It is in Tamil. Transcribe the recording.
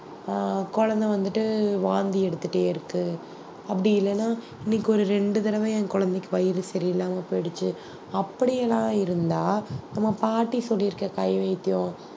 ஆஹ் குழந்தை வந்துட்டு வாந்தி எடுத்துட்டே இருக்கு அப்படி இல்லைன்னா இன்னைக்கு ஒரு ரெண்டு தடவை என் குழந்தைக்கு வயிறு சரியில்லாம போயிடுச்சு அப்படியெல்லாம் இருந்தா நம்ம பாட்டி சொல்லியிருக்க கை வைத்தியம்